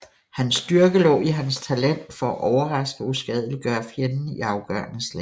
Hans styrke lå i hans talent for at overraske og uskadeliggøre fjenden i afgørende slag